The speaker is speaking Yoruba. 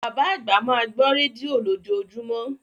Bàbá àgbà máa gbọ́ rédíò lójoojúmọ́.